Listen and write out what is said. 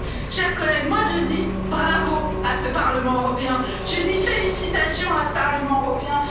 Chers collègues, moi je dis bravo à ce Parlement européen, je dis félicitations à ce Parlement européen!